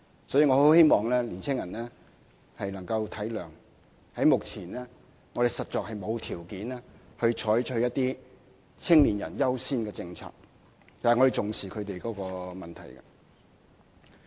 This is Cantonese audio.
所以，我很希望青年人能體諒，目前我們實在沒有條件採取一些"青年人優先"的政策，但我們重視他們的問題。